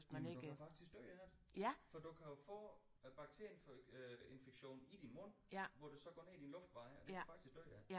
Jamen du kan faktisk dø af det for du kan jo få øh bakterie øh infektion i din mund hvor det så går ned i dine luftveje og det kan du faktisk dø af